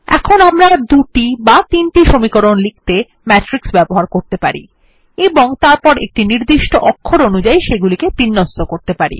এখন আমরা দুটি বা তিনটি সমীকরণ লিখতে ম্যাট্রিক্স ব্যবহার করতে পারি এবং তারপর একটি নির্দিষ্ট অক্ষর অনুযাই সেগুলিকে বিন্যস্ত করতে পারি